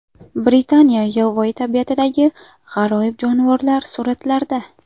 Britaniya yovvoyi tabiatidagi g‘aroyib jonivorlar suratlarda.